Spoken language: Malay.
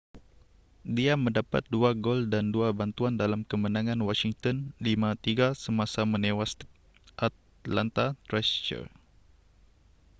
dia mendapat 2 gol dan 2 bantuan dalam kemenangan washington 5-3 semasa menewas atlanta thrashers